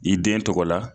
I den tɔgɔ la